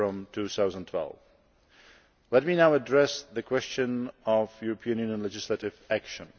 2012. Let me now address the question of European Union legislative action.